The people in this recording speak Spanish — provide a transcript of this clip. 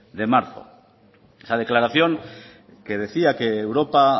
de marzo esa declaración que decía que europa